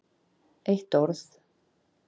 Eitt orð